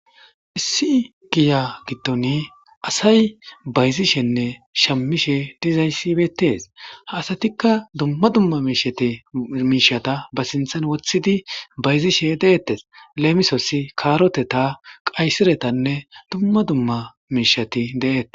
issi giya gittoni asay bayzishenne shammishe dizayssibetes aasatikka dumma dumma miishati miishata ba sinthan wothidi bayzishe deeettes leemisossi kaaroteta qaysiretanne dumma dumma miishati de7ettes